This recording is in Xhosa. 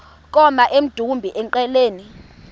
koma emdumbi engqeleni